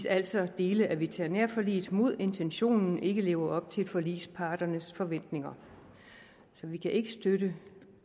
altså er dele af veterinærforliget mod intentionen ikke lever op til forligsparternes forventninger så vi kan ikke støtte